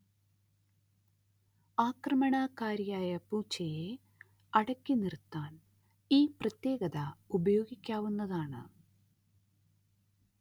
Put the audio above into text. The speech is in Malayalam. ആക്രമണകാരിയായ പൂച്ചയെ അടക്കിനിർത്താൻ ഈ പ്രത്യേകത ഉപയോഗിക്കാവുന്നതാണ്